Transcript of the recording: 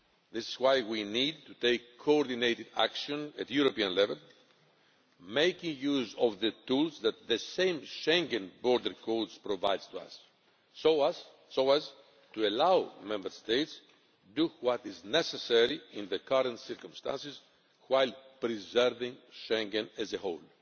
This is why we need to take coordinated action at European level, making use of the tools that the same Schengen Borders Code provides us with so as to allow Member States to do what is necessary in the current circumstances, while preserving Schengen as a whole.